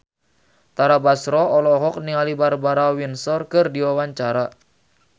Tara Basro olohok ningali Barbara Windsor keur diwawancara